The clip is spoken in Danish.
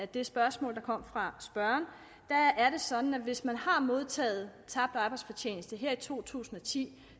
det spørgsmål der kom fra spørgeren er det sådan at hvis man har modtaget tabt arbejdsfortjeneste her i to tusind og ti